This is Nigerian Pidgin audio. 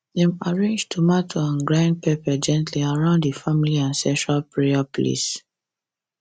dem arrange tomato and grind pepper gently around the family ancestral prayer place